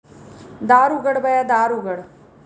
दार उघड बया दार उघड